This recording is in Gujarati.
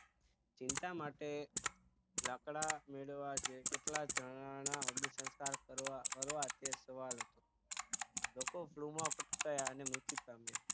ચિતા માટે લાકડા મેળવવા છે કેટલા જણાના અગ્નિસંસ્કાર કરવા તે સવાલ લોકો flu માં ફટકાયાં અને મૃત્યુ પામ્યા